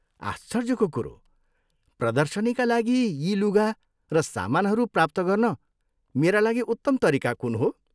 आश्चर्यको कुरो। प्रदर्शनीका लागि यी लुगा र समानहरू प्राप्त गर्न मेरा लागि उत्तम तरिका कुन हो?